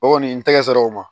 O kɔni n tɛgɛ sera o ma